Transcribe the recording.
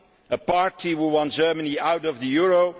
a party who want Germany out of the euro.